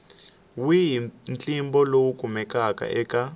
wihi ntlimbo lowu kumekaka eka